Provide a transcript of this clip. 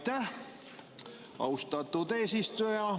Aitäh, austatud eesistuja!